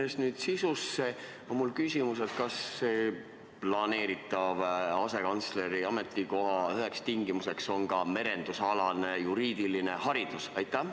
Minnes sisusse, on mul küsimus: kas selle planeeritava asekantsleri ametikoha täitmisel on üheks tingimuseks ka merendusalane juriidiline haridus?